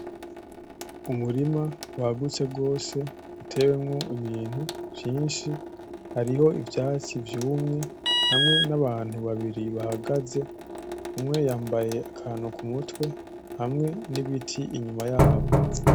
Umurima wagutse gose uteyemwo ibintu vyinshi hariho ivyatsi, hamwe n'abantu babiri bahagaze. Umwe yambaye akantu ku mutwe, hamwe n'ibiti inyuma yabo.